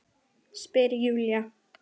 Spyr Júlía.